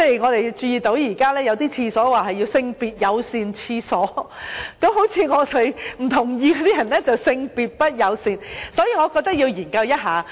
我們還注意到，現在有些廁所稱為"性別友善廁所"，這樣好像是說我們這些不認同的人便是"性別不友善"，所以我覺得要研究一下。